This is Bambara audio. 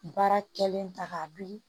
Baara kɛlen ta k'a bili